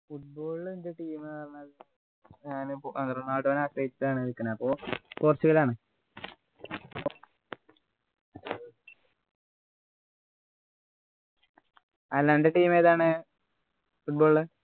football ൽ എൻ്റെ team പറഞ്ഞാല് ഞാന് റൊണാൾഡോ നെആശ്രയിച്ചാണ് നിക്കുന്നത് അപ്പൊ പൊച്ചുഗലാണ് അല്ല അൻ്റെ team ഏതാണ് football ൽ